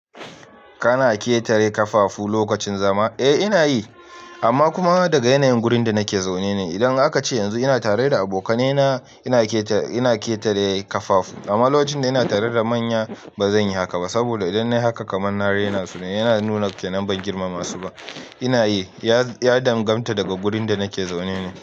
Kana ƙetare kafafu lokacin zama? Eh ina yi, amma kuma daga yanayin gurin da nake zaune ne. Idan aka ce yanzu ina tare da abokanaina, ina keta ina ketare kafafu. Amma locin da ina tare da manya bazan yi haka ba. Saboda idan na yi haka kaman na raina su ne. Yana nuna kenan ban girmama su ba. Ina yi, ya ya damganta daga gurin da nake zaune ne.